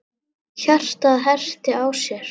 Hjartað herti á sér.